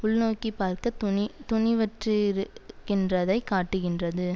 உள்நோக்கிப்பார்க்க துணிதுணிவற்றிருக்கின்றதை காட்டுகின்றது